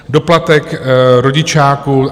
Doplatek rodičáku.